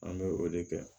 An bɛ o de kɛ